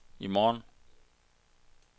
i morgen